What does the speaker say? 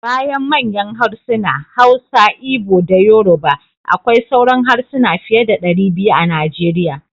Bayan manyan harsuna: Hausa, Igbo da Yoruba akwai sauran harsuna fiye da 200 a Nigeria.